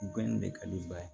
Bɛɛ nin de ka di n ba ye